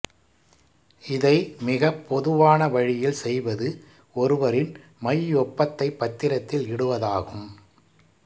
இதை மிகப் பொதுவான வழியில் செய்வது ஒருவரின் மையொப்பத்தை பத்திரத்தில் இடுவதாகும்